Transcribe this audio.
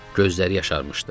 Gözləri yaşarmışdı.